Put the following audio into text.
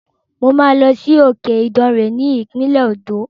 Mo máa lọ sí òkè Ìdàrè ní ìpínlẹ̀ Òǹdó.